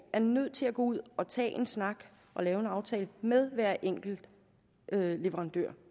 er nødt til at gå ud og tage en snak og lave en aftale med hver enkelt leverandør